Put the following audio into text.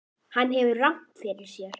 Hann hefur rangt fyrir sér.